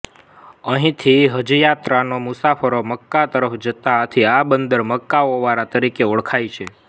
અહીંથી હજયાત્રાના મુસાફરો મક્કા તરફ જતા આથી આ બંદર મક્કા ઓવારા તરીકે ઓળખાય છે